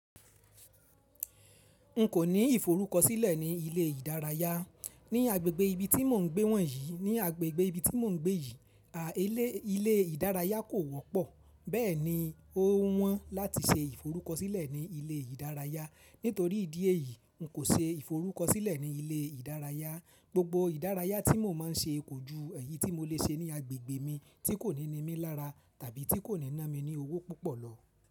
N kò ní ìforúkọsílẹ̀ ní ilé ìdárayá. Ní agbègbè ibi tí mò ń gbé wọ̀nyí, ní agbègbè ibi tí mò ń gbé yìí, à ílé ilé ìdárayá kò wọ́pọ̀. Bẹ́ẹ̀ni, o wọ́n láti se ìforúkọsílẹ̀ ní ilé ìdárayá. Nítorí ìdí èyí, n kò se ìforúkọsílẹ̀ ní ilé ìdárayá. Gbogbo ìdárayá tí mò máa ń ṣe kò ju èyí tí mo lè ṣe ní agbègbè mi tí kò ní ní mi lára tàbí tí kò ní ná mi ní owó púpọ̀ lọ.